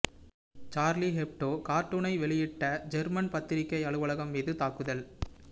Charlie Hebdo கார்டூனை வெளியிட்ட German பத்திரிக்கை அலுவலகம் மீது தாக்குதல்